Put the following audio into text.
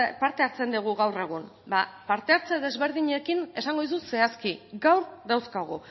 parte hartzen dugu gaur egun ba parte hartze desberdinekin esango dizut zehazki gaur dauzkagu